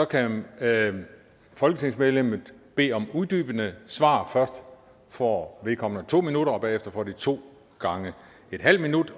kan folketingsmedlemmet bede om uddybende svar først får vedkommende to minutter og derefter får man to gange en halv minut